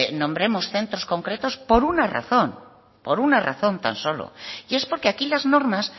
nombremos centros concretos por una razón por una razón tan solo y es porque aquí las normas